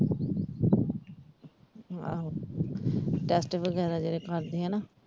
ਆਹੋ test ਵਗੈਰਾ ਜਿਹੜੇ ਕਰਦੇ ਆਨਾ?